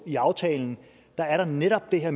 i aftalen netop er